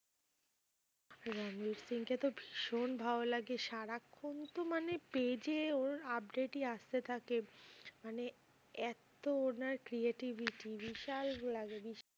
রণবীর সিং কে তো ভীষণ ভালো লাগে। সারাক্ষন তো মানে page এ ওর update ই আসতে থাকে মানে এত্ত না creativity বিশাল লাগে বিশাল